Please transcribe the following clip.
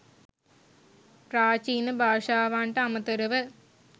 ප්‍රාචීන භාෂාවන්ට අමතරව